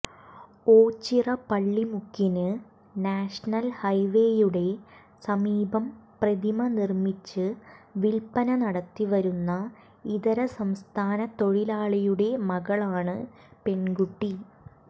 ഓച്ചിറ പള്ളിമുക്കിന് നാഷണൽ ഹൈവേയുടെ സമീപം പ്രതിമ നിർമ്മിച്ച് വിൽപ്പന നടത്തി വരുന്ന ഇതരസംസ്ഥാന തൊഴിലാളിയുടെ മകളാണ് പെൺകുട്ടി